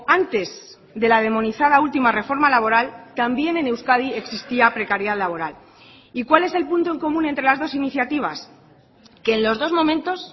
antes dela demonizada última reforma laboral también en euskadi existía precariedad laboral y cuál es el punto en común entre las dos iniciativas que en los dos momentos